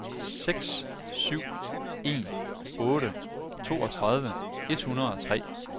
seks syv en otte toogtredive et hundrede og tre